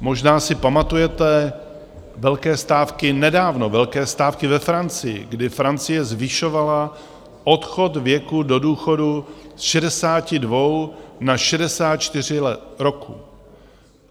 Možná si pamatujete velké stávky nedávno, velké stávky ve Francii, kdy Francie zvyšovala odchod věku do důchodu z 62 na 64 roků.